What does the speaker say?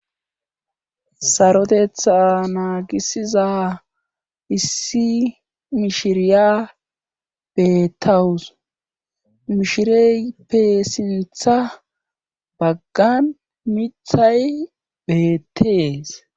sarodetha naagisiza issi mishiriya beettawus mishireype sintha baggan mithay beettees